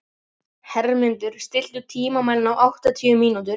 Hermundur, stilltu tímamælinn á áttatíu mínútur.